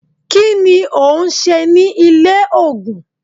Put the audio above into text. kí ni òun se ní ilé ògùn?